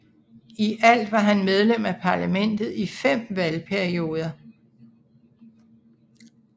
I alt var han medlem af parlamentet i fem valgperioder